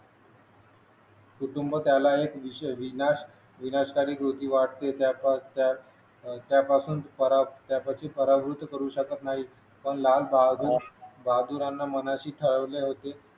कुटुंब त्याला अनेक विषय विज्ञान विनाशकारी कृती वाढते त्यापासून अह त्यापासून पराभूत करू शकत नाही पण लालबहादूर बहादूरांनी मनाशी ठरवले होते की